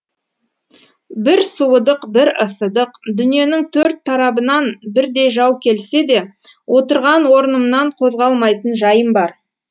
бір суыдық бір ысыдық дүниенің төрт тарабынан бірдей жау келсе де отырған орнымнан қозғалмайтын жайым бар